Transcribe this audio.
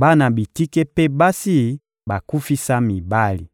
bana bitike mpe basi bakufisa mibali.